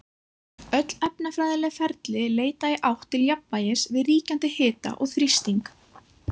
Öll efnafræðileg ferli leita í átt til jafnvægis við ríkjandi hita og þrýsting.